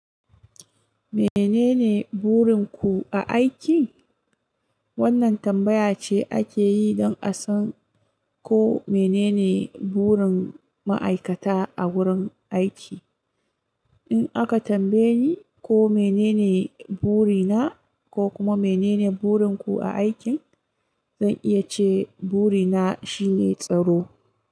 "Mene ne burin ku a aiki?" wannan tambaya ce ake yi don a san ko mene ne burin ma'aikata a wurin aiki. In aka tambaye ni ko mene ne buri na ko kuma mene ne burin ku a aiki, zan iya ce buri na shine tsaro.